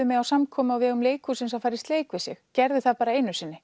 mig á samkomu á vegum leikhúsins að fara í sleik við sig gerði það bara einu sinni